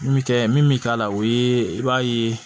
Min bɛ kɛ min bɛ k'a la o ye i b'a ye